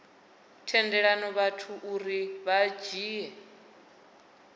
tendela vhathu uri vha dzhie